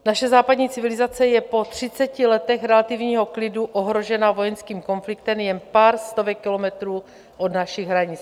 Naše západní civilizace je po třiceti letech relativního klidu ohrožena vojenským konfliktem jen pár stovek kilometrů od našich hranic.